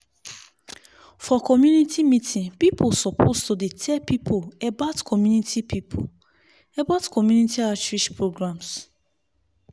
for community meeting people suppose to dey tell people about community people about community outreach programs.